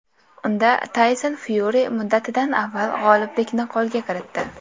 Unda Tayson Fyuri muddatidan avval g‘oliblikni qo‘lga kiritdi.